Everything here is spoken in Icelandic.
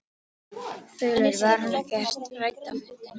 Þulur: Var hún ekkert rædd á fundinum?